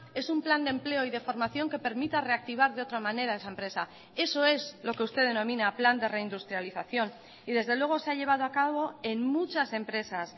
es un plan de empleo y de formación que permita reactivar de otra manera esa empresa eso es lo que usted denomina plan de reindustrialización y desde luego se ha llevado a cabo en muchas empresas